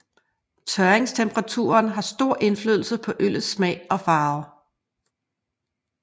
Tørringstemperaturen har stor indflydelse på øllets smag og farve